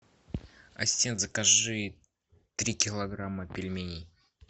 ассистент закажи три килограмма пельменей